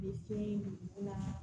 U bɛ fɛn dugu la